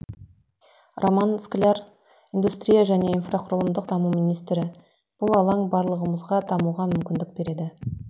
роман скляр индустрия және инфрақұрылымдық даму министрі бұл алаң барлығымызға дамуға мүмкіндік береді